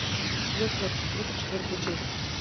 чудотворцы тридцать четвертая часть